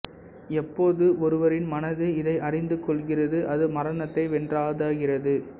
எப்போது ஒருவரின் மனது இதை அறிந்து கொள்கிறது அது மரணத்தை வென்றாதாகிறது